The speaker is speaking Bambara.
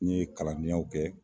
N ye kalandenyaw kɛ